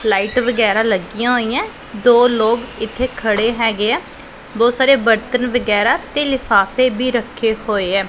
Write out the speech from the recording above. Light ਵਗੈਰਾ ਲੱਗੀਆਂ ਹੋਈਆਂ ਦੋ ਲੋਕ ਇੱਥੇ ਖੜੇ ਹੈਗੇ ਆ ਬਹੁਤ ਸਾਰੇ ਬਰਤਨ ਵਗੈਰਾ ਤੇ ਲਿਫਾਫੇ ਵੀ ਰੱਖੇ ਹੋਏ ਐ।